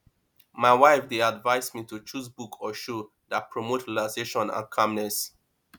my wife dey advise me to choose book or show that promote relaxation and calmness